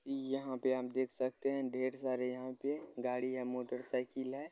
यहाँ पे आप देख सकते हैं ढेर सारी यहाँ पे गाड़ियाँ मोटरसाइकिल है।